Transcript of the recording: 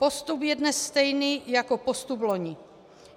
Postup je dnes stejný jako postup loni.